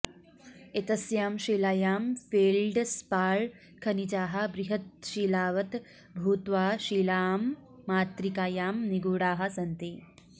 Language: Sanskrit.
एतस्यां शिलायां फेल्ड्स्पार् खनिजाः बृहत्शिलावत् भूत्वा शिलामातृकायां निगूढाः सन्ति